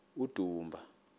udumba